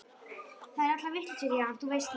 Þær eru allar vitlausar í hann, þú veist það.